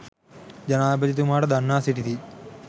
ජනාධිපතිතුමාට දන්වා සිටිති.